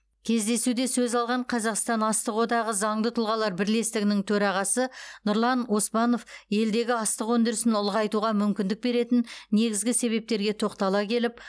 кездесуде сөз алған қазақстан астық одағы заңды тұлғалар бірлестігінің төрағасы нұрлан оспанов елдегі астық өндірісін ұлғайтуға мүмкіндік беретін негізгі себептерге тоқтала келіп